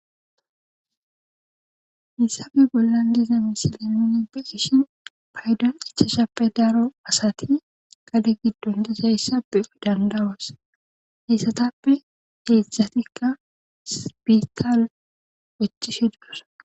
Hissafe bollan diza misilemini pe ishi paydan ichashappe daaro asati gade giddon disayssappe dandawas heyssatappe heedzszatikka spiikaal wechishe dudos.